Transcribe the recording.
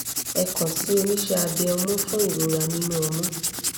ẹ kan si oníṣe abe ọmú fún ìrora nínú ọmú